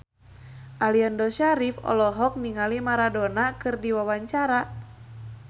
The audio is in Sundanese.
Aliando Syarif olohok ningali Maradona keur diwawancara